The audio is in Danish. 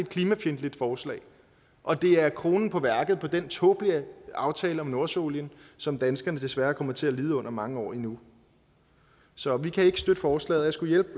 klimafjendtligt forslag og det er kronen på værket af den tåbelige aftale om nordsøolien som danskerne desværre kommer til at lide under i mange år endnu så vi kan ikke støtte forslaget